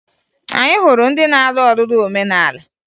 Anyị hụrụ ndị na-alụ ọlụlụ omenala